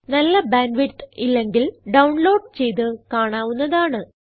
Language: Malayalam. നല്ല ബാൻഡ് വിഡ്ത്ത് ഇല്ലെങ്കിൽ ഡൌൺലോഡ് ചെയ്ത് കാണാവുന്നതാണ്